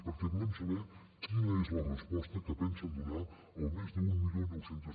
perquè volem saber quina és la resposta que pensen donar al mes d’mil nou cents